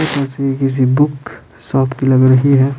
ये तस्वीर किसी से बुक शॉप की लग रही है।